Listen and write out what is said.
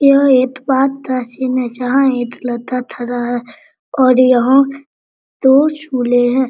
यहाँ एक पार्क का सीन है जहाँ एक लड़का थाड़ा और यहाँ दो झूले हैं।